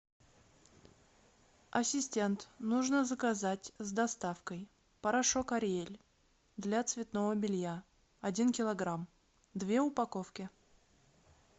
ассистент нужно заказать с доставкой порошок ариэль для цветного белья один килограмм две упаковки